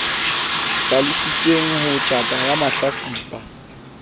hlalositsweng ho tjhata ya mahlatsipa